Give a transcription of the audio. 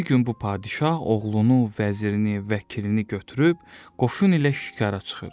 Bir gün bu padşah oğlunu, vəzirini, vəkilini götürüb qoşun ilə şikara çıxır.